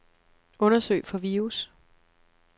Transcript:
Undersøg for virus.